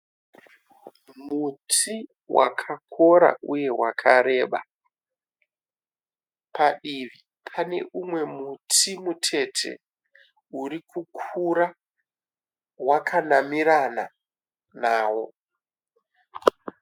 Muti wakakora uye wakareba. Padivi pane úmwe muti mutete urikukura wakanamirana nawo.